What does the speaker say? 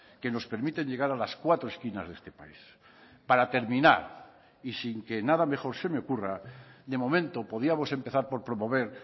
que nos permiten llegar a las cuatro esquinas de este país para terminar y sin que nada mejor se me ocurra de momento podíamos empezar por promover